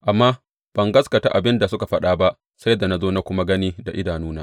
Amma ban gaskata abin da suka faɗa ba sai da na zo na kuma gani da idanuna.